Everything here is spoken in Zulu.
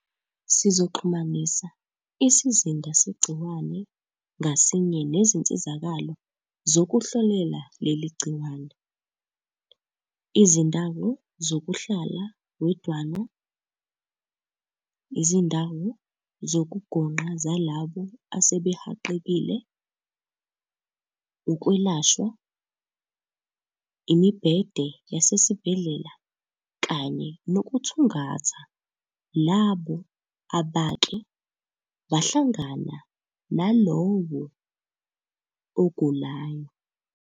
"Sizoxhumanisa isizinda segciwane ngasinye nezinsizakalo zokuhlolela leli gciwane, izindawo zokuhlala wedwana, izindawo zokugonqa zalabo asebehaqekile, ukwelashwa, imibhede yasesibhedlela kanye nokuthungatha labo abake bahlangana nalowo ogulayo."